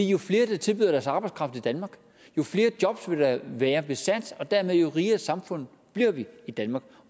jo flere der tilbyder deres arbejdskraft i danmark jo flere jobs vil der være besat og dermed rigere samfund i danmark